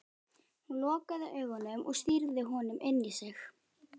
Hún lokaði augunum og stýrði honum inn í sig.